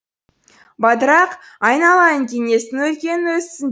бадырақ айналайын кеңестің өркені өссін